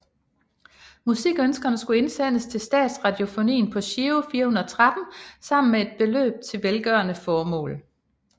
Musikønskerne skulle indsendes til Statsradiofonien på Giro 413 sammen med et beløb til velgørende formål